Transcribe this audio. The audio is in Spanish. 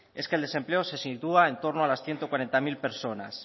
es que el desempleo se sitúa en torno a las ciento cuarenta mil personas